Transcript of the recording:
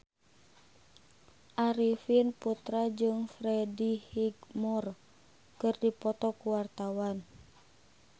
Arifin Putra jeung Freddie Highmore keur dipoto ku wartawan